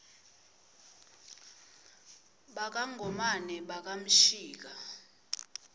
baka ngomane baka mshika